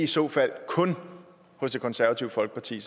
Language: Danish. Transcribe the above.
så fald kun hos det konservative folkeparti